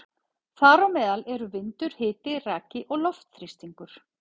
Þar á meðal eru vindur, hiti, raki og loftþrýstingur.